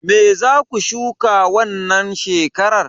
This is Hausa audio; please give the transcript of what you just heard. Me zaku shuka wannan shekarar?